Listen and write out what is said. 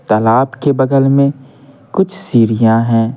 तालाब के बगल में कुछ सीढ़ियां हैं।